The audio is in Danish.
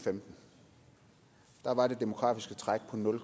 og femten var det demografiske træk på nul